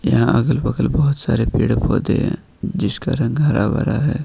यहां अगल बगल बहुत सारे पेड़ पौधे हैं जिसका रंग हरा भरा है।